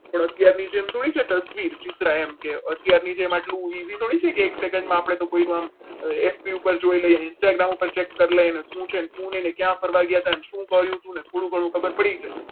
પણ અત્યારની જેમ થોડી છે તસવીર અત્યારની જેમ આટલું busy થોડું છે કે એક સેકન્ડમાં કોઈનું નામ FB ઉપર જોઈ લેજે instagram ઉપર check કરી લઈએ ને શું છે અને શું નહીં ને ક્યાં ફરવા ગયા હતા? શું કર્યું તું ને થોડું ઘણું ખબર પડી જાય.